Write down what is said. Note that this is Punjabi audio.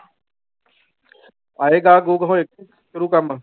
ਆਏ ਗਾਹਕ ਗੂਹਕ ਹੋਏ ਸ਼ੁਰੂ ਕਰਨ।